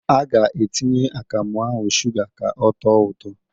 A ga-atinye akamụ ahụ shụga ka ọtọọ ụtọ.